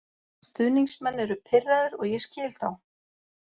Stuðningsmenn eru pirraðir og ég skil þá.